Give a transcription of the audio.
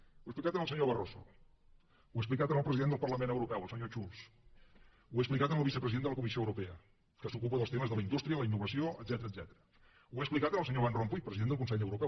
ho he explicat al senyor barroso ho he explicat al president del parlament europeu el senyor schulz ho he explicat al vicepresident de la comissió europea que s’ocupa dels temes de la indústria la innovació etcètera ho he explicat al senyor van rompuy president del consell europeu